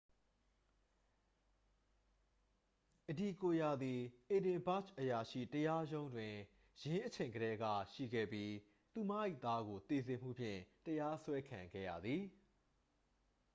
အဒီကိုယာသည် အေဒင်ဘာ့ဂျ် အရာရှိတရားရုံးတွင် ယင်းအချိန်ကတည်းက ရှိခဲ့ပြီး သူမ၏ သားကို သေစေမှုဖြင့် တရားစွဲခံခဲ့ရသည်